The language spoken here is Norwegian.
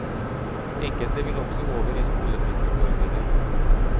Enkelte vil også over i skolefritidsordningen.